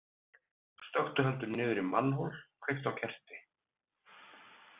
Stökktu heldur niður í mannhol, kveiktu á kerti.